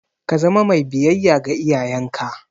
Ka zama mai biyayya ga iyayenka!